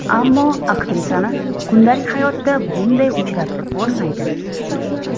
Ammo aktrisani kundalik hayotda bunday uchratib bo‘lmaydi.